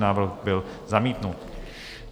Návrh byl zamítnut.